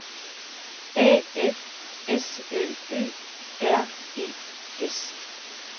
A F S L Ø R E S